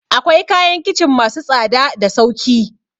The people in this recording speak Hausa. Akawai kayan kicin masu tsada da sauki